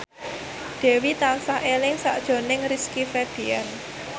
Dewi tansah eling sakjroning Rizky Febian